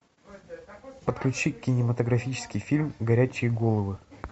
подключи кинематографический фильм горячие головы